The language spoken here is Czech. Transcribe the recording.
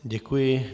Děkuji.